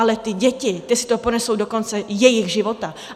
Ale ty děti, ty si to ponesou do konce svého života.